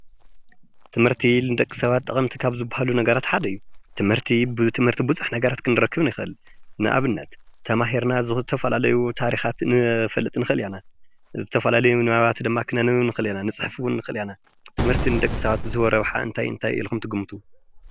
ትምህርቲ ብዝተመሃረ ሰብ ዝወሃብ ፍልጠት ንእክበሉ።